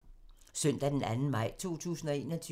Søndag d. 2. maj 2021